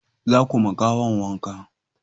za ku ma gawa wanka!